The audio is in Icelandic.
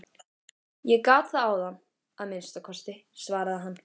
Ég gat það áðan að minnsta kosti, svaraði hann.